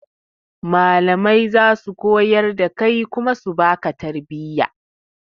Malamai zasu koyar da kai kuma su baka tarbiya